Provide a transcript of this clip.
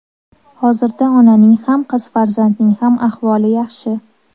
Hozirda onaning ham, qiz farzandning ham ahvoli yaxshi.